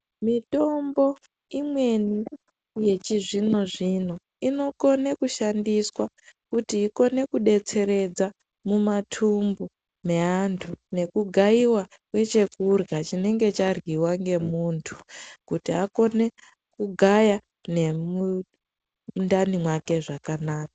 Mitombo imweni yechizvino-zvino inokone kushandiswa kuti ikone kudetseredza mumatumbu meantu nekugayiwa kwechekurya chinenge charyiwa ngemuntu kuti akone kugaya nemundani mwake zvakanaka.